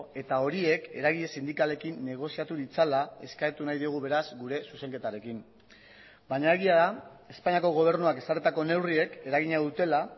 eta horiek eragile sindikalekin negoziatu ditzala eskatu nahi diogu beraz gure zuzenketarekin baina egia da espainiako gobernuak ezarritako neurriek eragina dutela